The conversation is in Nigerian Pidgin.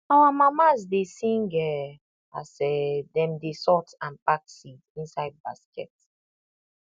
our mamas dey sing um as um dem dey sort and pack seed inside basket